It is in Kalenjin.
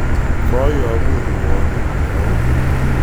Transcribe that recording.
Koyobu rwaonik cheonyiy